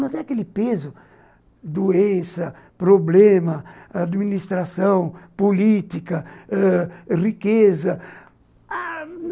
Não tem aquele peso, doença, problema, administração, política, riqueza.